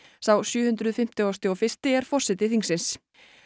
sá sjö hundruð fimmtugasti og fyrsti er forseti þingsins